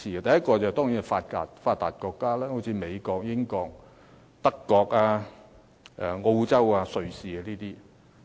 第一個層次是發達國家，例如美國、英國、德國、澳洲和瑞士等國家。